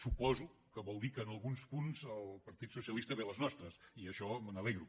suposo que vol dir que en alguns punts el partit socialista ve a les nostres i d’això me n’alegro